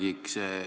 Härra Kiik!